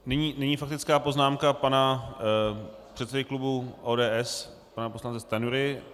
Nyní faktická poznámka pana předsedy klubu ODS, pana poslance Stanjury.